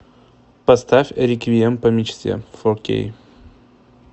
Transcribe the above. поставь реквием по мечте фор кей